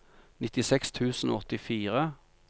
nittiseks tusen og åttifire